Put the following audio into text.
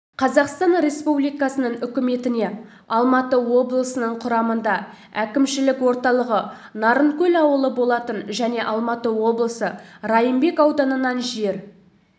қазақстан республикасының үкіметіне алматы облысының құрамында әкімшілік орталығы нарынкөл ауылы болатын және алматы облысы райымбек ауданынан жер